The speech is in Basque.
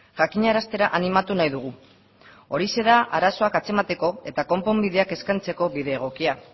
jakinaraztera animatu nahi dugu horixe da arazoak atzemateko eta konponbideak eskaintzeko bide egokia